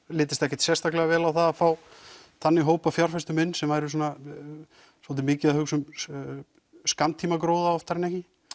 litist ekkert sérstaklega vel á það að fá þannig hóp af fjárfestum inn sem væru svolítið mikið að hugsa um skammtímagróða oftar en ekki